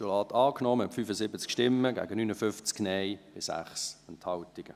Sie haben dieses Postulat angenommen, mit 75 Ja- gegen 59 Nein-Stimmen bei 6 Enthaltungen.